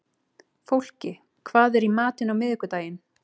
Fólki, hvað er í matinn á miðvikudaginn?